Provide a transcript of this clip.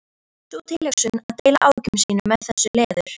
Sú tilhugsun að deila áhyggjum sínum með þessu leður